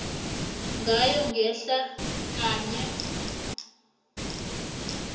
ngayo ngehla kanye